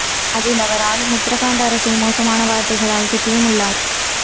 அதில் அவர் ஆளும் உத்தரகண்ட் அரசை மோசமான வார்த்தைகளால் திட்டியும் உள்ளார்